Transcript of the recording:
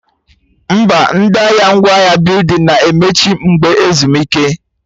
Mba, ndị ahịa ngwaahịa building na-emechi mgbe ezumike